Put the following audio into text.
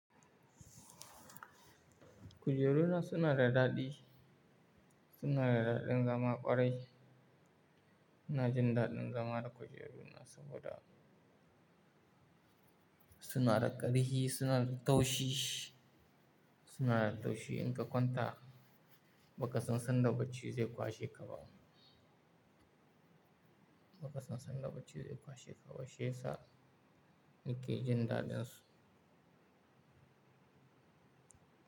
Kujeru na suna da daɗi, suna da daɗin zama ƙwarai. Ina jin daɗin zama da kujeru na saboda suna da ƙarfi, suna da taushi, suna da taushi in ka kwanta ba ka san sanda bacci zai kwashe ka ba. Ba ka san sanda bacci zai kwashe ka ba shiyasa nake jin daɗin su.